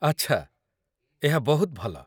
ଆଚ୍ଛା, ଏହା ବହୁତ ଭଲ।